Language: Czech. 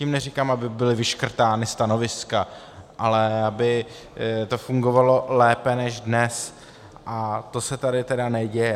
Tím neříkám, aby byla vyškrtána stanoviska, ale aby to fungovalo lépe než dnes, a to se tady tedy neděje.